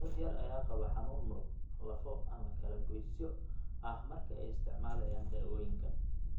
Dad yar ayaa qaba xanuun muruq, lafo, ama kalagoysyo ah marka ay isticmaalayaan daawooyinkan.